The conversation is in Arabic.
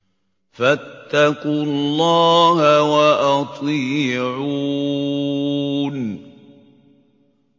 فَاتَّقُوا اللَّهَ وَأَطِيعُونِ